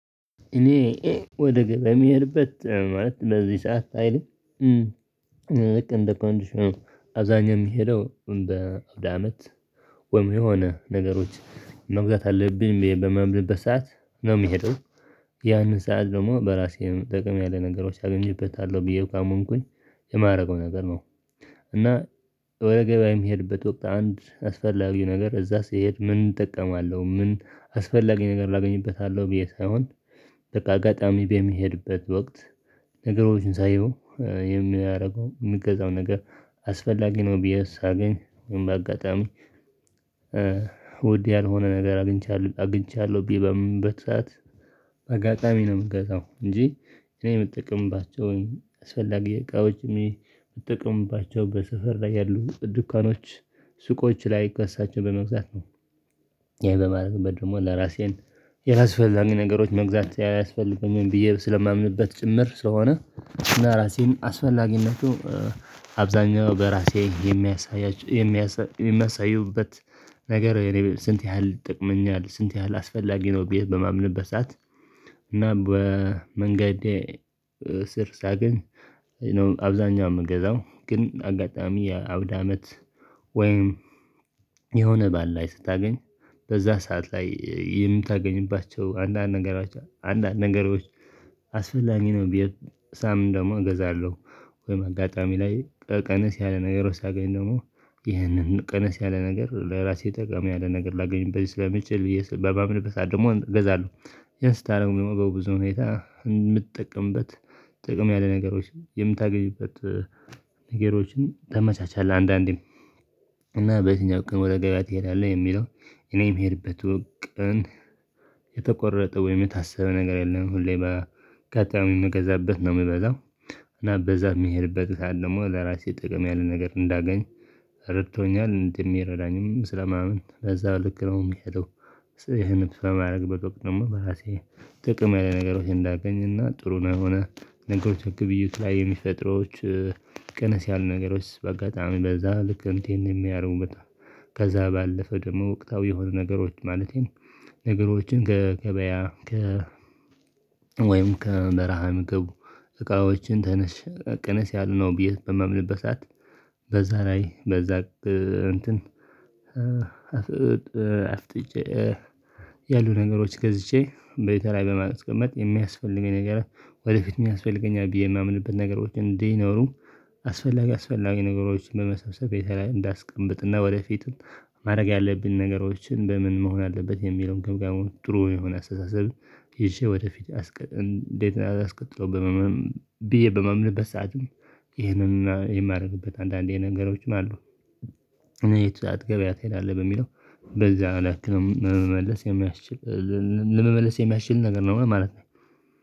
እኔ ወደ ግብ የሚሄድበት ማለት በዚህ ሰዓት አይልም ልክ እንደ ኮንዲሽኑ አብዛኛ የሚሄደው እንደ አመት ወይም የሆነ ነገሮች መግዛት አለብኝ ብዬ በማምንበት ሰዓት ነው የምሄደው ያንን ሰዓት ደግሞ በራሴ ጠቀም ያለ ነገሮች አገኝበታለሁ ብዬ ካመንኩኝ የማደርገው ነገር ነው። እና ወደ ገበያ የሚሄድበት ወቅት አንድ አስፈላጊ ነገር እዛ ስሄድ ምን እጠቀማለሁ ምን አስፈላጊ ነገር ላገኝበታለሁ ብዬ ሳይሆን በቃ አጋጣሚ በሚሄድበት ወቅት ነገሮችን ሳየው የሚያደርገው የምገዛው ነገር አስፈላጊ ነው ቢዬ ሳገኝ በአጋጣሚ ውድ ያልሆነ ነገር አግኝቻለሁ አግኝቻለሁ ብዬ በማምንበት ሰዓት በአጋጣሚ ነው የምገዛው እንጂ እኔ የምጠቅምባቸውን አስፈላጊ እቃዎች የምጠቀምባቸው በሰፈር ላይ ያሉ ዱካኖች ሱቆች ላይ ከእሳቸው በመግዛት ነው። ይሄ በማድረግበት ደግሞ ለራሴን ያላስፈላጊ ነገሮች መግዛት አያስፈልገኝም ብዬ ስለማምንበት ጭምር ስለሆነ እና ራሴን አስፈላጊነቱ አብዛኛው በራሴ የሚያሳዩበት ነገር ስንት ያህል ይጠቅመኛል ስንት ያህል አስፈላጊ ነው? ብዬ በማምንበት ሰዓት እና በመንገዴ ስር ሳገኝ አብዛኛው የምገዛው ግን አጋጣሚ አውድ አመት ወይም የሆነ በዓል ላይ ስታገኝ በዛ ሰዓት ላይ የምታገኝባቸው አንዳንድ ነገሮች አንዳንድ ነገሮች አስፈላጊ ነው ብዬ ሳምን ደግሞ እገዛለሁ ወይም አጋጣሚ ላይ ቀነስ ያለ ነገሮች ሳገኝ ደግሞ ይህንን ቀነስ ያለ ነገር ለራሴ ጠቀም ያለ ነገር ላገኝበት ስለምችል ብዬ በማምነበት ሰዓት ደግሞ እገዛለሁ። ያን ስታደርጉ ደግሞ በብዙ ሁኔታ የምትጠቀምበት ጥቅም ያለ ነገሮች የምታገኝበት ነገሮችን ታመቻቻለህ አንዳንዴም እና በየትኛው ቀን ወደ ገበያ ትሄዳለህ ለሚለው? እኔ የምሄድበት ቀን የተቆረጠው ወይም የታስበ ነገር የለም ሁሌ በቀጣዩም ልገዛበት ነው የምበላው እና በዛ የሚሄድበት ሰዓት ደግሞ ለራሴ ጥቅም ያለ ነገር እንዳገኝ ረድቶኛል እንደሚረዳኝም ስለማመን በዛ ልክ ነው። የምሄደው ይሄንን በማድረግ ወቅት በራሴ ጥቅም ያለ ነገሮችን እንዳገኝና ጥሩ ነው የሆነ ነገሮችን ግብይት ላይ የሚፈጥረዋች ቀነስ ያሉ ነገሮች በአጋጣሚ በዛ ልክ እንትን የሚያደርጉ በጣም ከዛ ባለፈ ደግሞ ወቅታዊ የሆኑ ነገሮች ማለቴም ነገሮችን ከገበያ ከ ወይም ከበረሃ ምግብ እቃዎችን ተነስ ቀነስ ያሉ ነው ብዬ በማምንበት ሰዓት። በዛ ላይ በዛ እንትን አፍጥጬ ያሉ ነገሮች ገዝቼ በቴ ላይ በማስቀመጥ የሚያስፈልገኝ ነገር ወደፊትም ያስፈልገኛል ብዬ የማምንበት ነገሮችን እንዲኖሩ አስፈላጊ አስፈላጊ ነገሮችን በመሰብሰብ የተለያየ እንዳስቀምጥና ወደፊትም ማድረግ ያለብን ነገሮችን እንደ ምን መሆን አለበት የሚለውን ግምጋሞ ጥሩ የሆነ አስተሳሰብ ይዤ ወደፊት እንዴት ነው አስቀጥለው ብመመም ብዬ በማማንበት ሰዓትም። ይሄንን የማደርግበት አንዳንዴ ነገሮች ማለት ነው የትዳት ገበያ ትሄዳለህ በሚለው በዛን ያክል ለመመለስ የሚያስችል ለመመለስ የሚያስችል ነገር ነው ማለት ነው